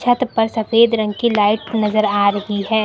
छत पर सफेद रंग की लाइट नजर आ रही है।